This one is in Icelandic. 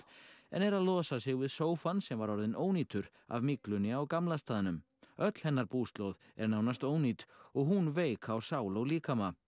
en er að losa sig við sófann sem var orðinn ónýtur af myglunni á gamla staðnum öll hennar búslóð er nánast ónýt og hún veik á sál og líkama